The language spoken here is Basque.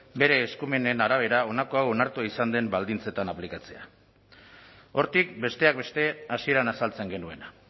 bere eskumenen arabera honako hau onartua izan den baldintzetan aplikatzea hortik besteak beste hasieran azaltzen genuena